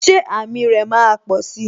Ṣé àmì rè máa posi?